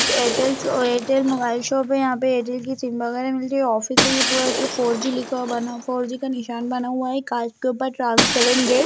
एक Airtel Airtel mobile shop यहां Airtel के सिम बगैरा मिलती है ऑफिस है फरो जी लिखा बना फोर जी का निशान बना हुआ कांच के ऊपर ट्रांसपेरेंट गेट --